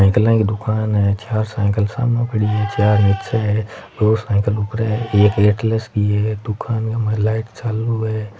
साइकला की दुकान है चार साइकिल सामे पड़ी है चार नीचे है दो साइकिल ऊपरे है एक एटलस की है दुकान के माय लाइट चालू है।